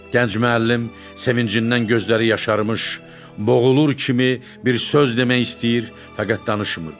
Gənc müəllim sevincindən gözləri yaşarmış, boğulur kimi bir söz demək istəyir, fəqət danışmırdı.